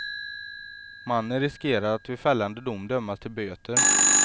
Mannen riskerar att vid fällande dom dömas till böter.